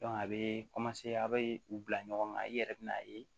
a bɛ a bɛ u bila ɲɔgɔn kan i yɛrɛ bɛ n'a ye